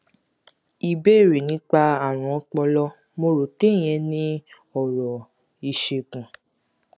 ìbéèrè nípa àrùn ọpọlọ mo rò pé ìyẹn ni ọrọ ìṣègùn